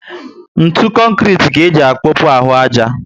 Ntụ konkrete ka eji apopu ahụ aja